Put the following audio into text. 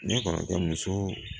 Ne kɔrɔkɛ muso